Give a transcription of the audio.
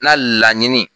Na laɲini